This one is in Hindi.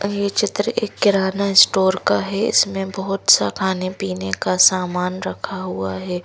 ये क्षेत्र एक किराना स्टोर का है। इसमें बहुत सा खाने पीने का सामान रखा हुआ है।